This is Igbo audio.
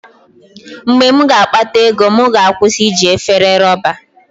Mgbe m ga-akpata ego, m ga-akwụsị iji efere rọba.